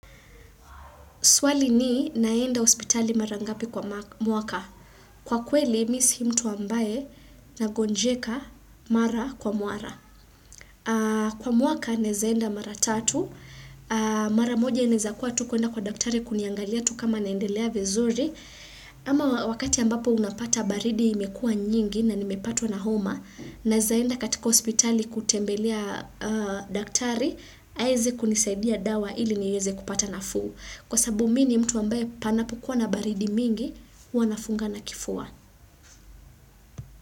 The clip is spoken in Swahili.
Swali ni naenda hospitali mara ngapi kwa mwaka. Kwa kweli, mi si mtu ambaye nagonjeka mara kwa muara. Kwa mwaka, naweza enda mara tatu. Mara moja inezakua tu kuenda kwa daktari kuniangalia tu kama naendelea vizuri. Ama wakati ambapo unapata baridi imekuwa nyingi na nimepatwa na homa. Naeza enda katika hospitali kutembelea daktari. Aeze kunisaidia dawa ili niweze kupata nafuu. Kwasabu mi ni mtu ambaye panapokua na baridi mingi, huwa nafungana kifua.